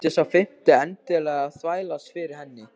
Þurfti sá fimmti endilega að þvælast fyrir henni!